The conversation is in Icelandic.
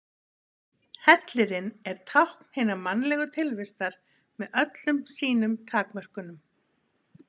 Hellirinn er tákn hinnar mannlegu tilvistar með öllum sínum takmörkunum.